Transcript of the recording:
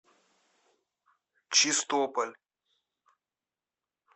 чистополь